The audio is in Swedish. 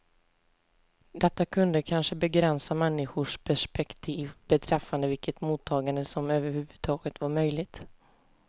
Detta kunde kanske begränsa människors perspektiv beträffande vilket mottagande som överhuvudtaget var möjligt.